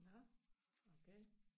Nåh okay